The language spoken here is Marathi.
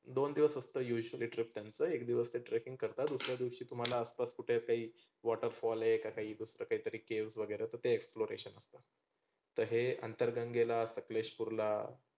दोन दिवस असतं usually trek त्यांचं एक दिवस ते trekking करतात. दुसर्‍या दिवशी तुम्हाला आसपास कुठे काही waterfall का काही दुसरं काही caves तर ते exploration तर हे अंतरगंगेला, सकलेशपुरला